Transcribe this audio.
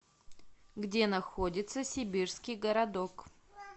где находится сибирский городок